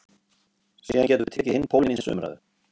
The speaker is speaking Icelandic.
Ætli það hafi ekki verið Elvar Geir.